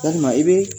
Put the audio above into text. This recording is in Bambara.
Yalima i be